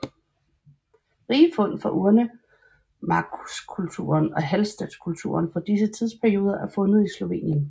Rige fund fra urnemarkskulturen og Hallstattkulturen fra disse tidsperioder er fundet i Slovenien